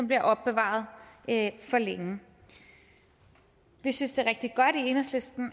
bliver opbevaret for længe vi synes i enhedslisten